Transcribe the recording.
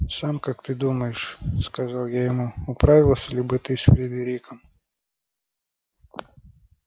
сам как ты думаешь сказал я ему управился ли бы ты с фридериком